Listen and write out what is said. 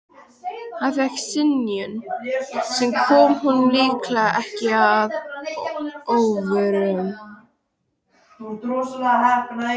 Hann fékk synjun, sem kom honum líklega ekki að óvörum.